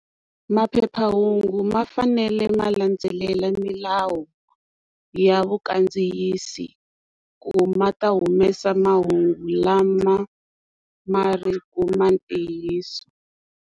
Maphephahungu ma fanele ma landzelela milawu ya vakandziyisi ku ma ta humesa mahungu lama ma ri ku ma ntiyiso.